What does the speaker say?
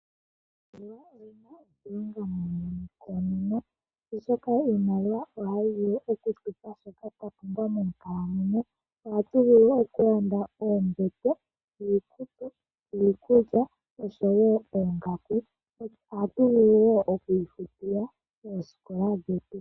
Iimaliwa oyina oshilonga muuyuni koonono, oshoka iimaliwa ohayi vulu okutupa shoka twa pumbwa moonkalamweyo. Ohatu vulu okulanda oombete, iikutu, iikulya, oshowo oongaku. Ohatu vulu wo oku ifutila oosikola dhetu.